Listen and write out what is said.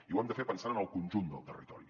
i ho hem de fer pensant en el conjunt del territori